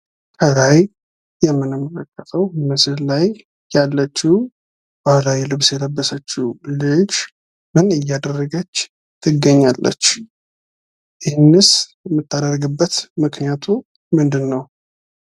ከላይ የምንመለከተው ምስል ላይ ያለችው ባህላዊ ልብስ የለበሰችው ልጅ ምን እያደረገች ትገኛለች? ይህንስ የምታደርግበት ምክንያቱ ምንድን ነው?